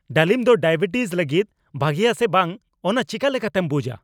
ᱰᱟᱞᱤᱢ ᱫᱚ ᱰᱟᱭᱟᱵᱮᱴᱤᱥ ᱞᱟᱹᱜᱤᱫ ᱵᱷᱟᱜᱮᱭᱟ ᱥᱮ ᱵᱟᱝ ᱚᱱᱟ ᱪᱮᱠᱟ ᱞᱮᱠᱟᱛᱮᱢ ᱵᱩᱡᱷᱼᱟ ?